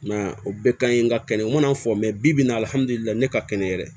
I m'a ye o bɛɛ ka ɲi nka kɛnɛ mana fɔ mɛ bi n'a hali ne ka kɛnɛ yɛrɛ